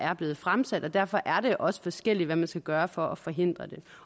er blevet fremsat og derfor er det også forskelligt hvad man skal gøre for at forhindre det